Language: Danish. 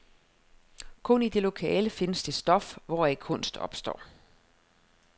Kun i det lokale findes det stof, hvoraf kunst opstår.